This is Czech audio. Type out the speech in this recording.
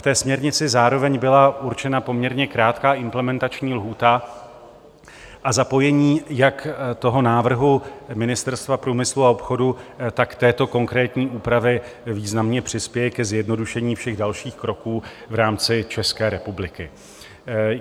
V té směrnici zároveň byla určena poměrně krátká implementační lhůta a zapojení jak toho návrhu Ministerstva průmyslu a obchodu, tak této konkrétní úpravy významně přispěje ke zjednodušení všech dalších kroků v rámci České republiky.